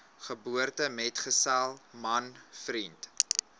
geboortemetgesel man vriend